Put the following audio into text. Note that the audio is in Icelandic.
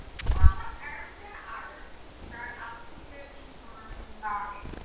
Hvaða erindi áttu hingað á alþingi Íslendinga?